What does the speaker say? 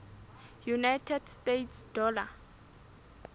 united states dollar